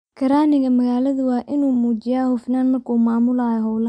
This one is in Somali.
Karraaniga magaalada waa inuu muujiyaa hufnaan markuu maamulayo hawlaha.